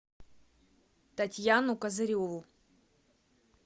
татьяну козыреву